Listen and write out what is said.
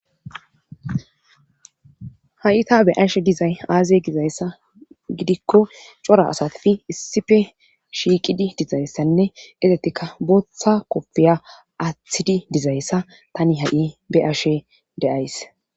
ha7ita be ashe dizay aaze gizayssa gidikko cora asatifi issife shiiqidi dizayssanne esetikka booththa koppeya aathidi dizayssa tani ha7i beashe deays